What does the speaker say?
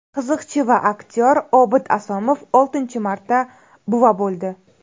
Qiziqchi va aktyor Obid Asomov oltinchi marta buva bo‘ldi.